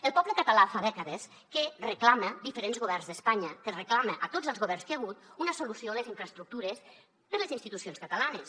el poble català fa dècades que reclama a diferents governs d’espanya que reclama a tots els governs que hi ha hagut una solució a les infraestructures per a les institucions catalanes